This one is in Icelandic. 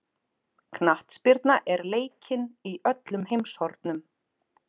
Knattspyrna er leikin í öllum heimshornum.